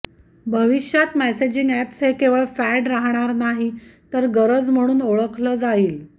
भविष्यात messaging apps हे केवळ फॅड राहणार नाही तर गरज म्हणून ओळखलं जाईल